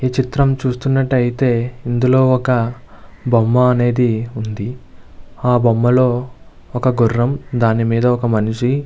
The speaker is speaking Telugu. ఈ చిత్రం చుస్తునాటు అయితే ఇందులో ఒక బొమ్మ అనేది వుంది ఆ బొమ్మలో ఒక గుర్రం దాని మిదా ఒక మనిషి --